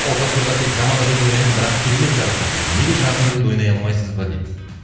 олжас мырза тек жаман рөлді ойнайды бірақ керемет жарасады дейді неге жағымды рөлді ойнай алмайсыз ба дейді